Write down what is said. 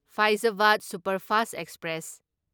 ꯐꯥꯢꯖꯕꯗ superfast express